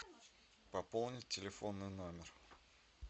пополнить телефонный номер